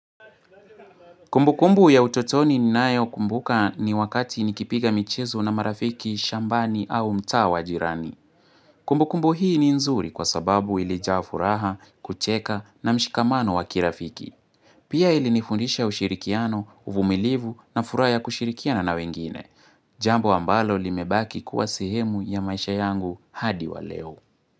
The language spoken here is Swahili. Kumbu kumbu ya utotoni ni nayo kumbuka ni wakati nikipiga michezo na marafiki, shambani au mtaa wa jirani. Kumbu kumbu hii ni nzuri kwa sababu ilijaa furaha, kucheka na mshikamano wakirafiki. Pia ilinifundisha ushirikiano, uvumilivu na furaha ya kushirikia na nawengine. Jambo ambalo limebaki kuwa sehemu ya maisha yangu hadi waleo.